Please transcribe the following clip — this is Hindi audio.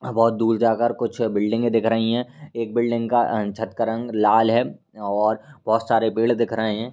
बहुत दूर जाकर कुछ बिल्डिंगे दिख रही हैं। एक बिल्डिंग का अ छत का रंग लाल है और बहुत सारे पेड़ दिख रहे हैं।